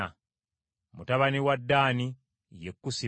Mutabani wa Ddaani ye Kusimu.